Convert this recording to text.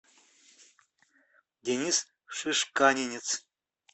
денис шишканинец